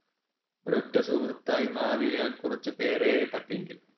ഒരൊറ്റ സുഹൃത്തായി മാറിയ കുറച്ച് പേരേ പറ്റിയെങ്കിലും